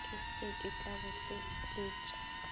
ke se ka bo hlotletša